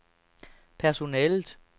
personalet